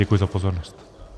Děkuji za pozornost.